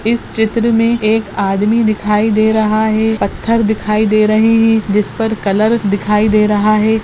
इस चित्र मे एक आदमी दिखाई दे रहा है पत्थर दिखाई दे रहे है जिस पर कलर दिखाई दे रहा है।